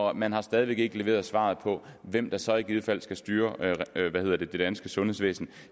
og man har stadig væk ikke leveret svaret på hvem der så i givet fald skal styre det danske sundhedsvæsen